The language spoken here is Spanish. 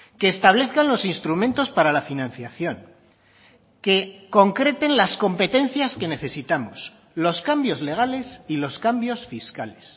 que establezcan los instrumentos para la financiación que concreten las competencias que necesitamos los cambios legales y los cambios fiscales